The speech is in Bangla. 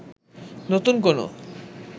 নতুন কোনও